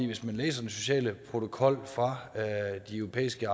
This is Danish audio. hvis man læser den sociale protokol fra de europæiske